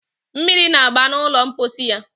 Mmiri na-agba n'ụlọ mposi ya